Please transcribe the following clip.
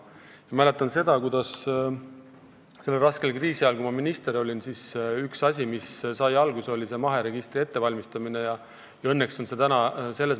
Ma mäletan, kuidas sellel raskel kriisiajal, kui ma minister olin, oli mahepõllumajanduse registri ettevalmistamine üks asi, mis alguse sai.